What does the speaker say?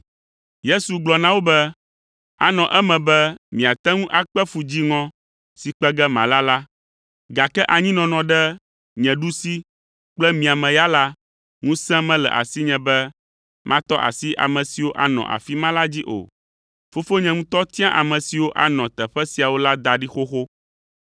Yesu gblɔ na wo be, “Anɔ eme be miate ŋu akpe fu dziŋɔ si kpe ge mala la, gake anyinɔnɔ ɖe nye ɖusi kple mia me ya la, ŋusẽ mele asinye be matɔ asi ame siwo anɔ afi ma la dzi o. Fofonye ŋutɔ tia ame siwo anɔ teƒe siawo la da ɖi xoxo.”